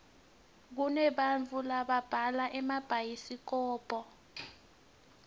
kunebantau lababhala emabhayisikobho